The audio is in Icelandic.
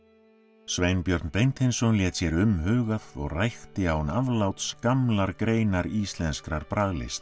Sveinbjörn Beinteinsson lét sér umhugað og rækti án afláts gamlar greinar íslenskrar